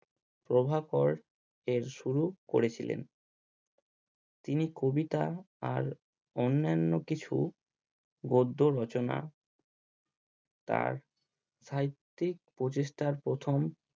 প্রভাকরের শুরু করেছিলেন তিনি কবিতা আর অন্যান্য কিছু গদ্য রচনা তার সাহিত্যিক প্রচেষ্টার প্রথম